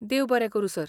देव बरें करूं, सर.